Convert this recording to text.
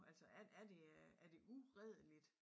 Altså er er det er det uredeligt?